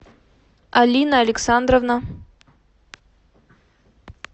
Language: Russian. алина александровна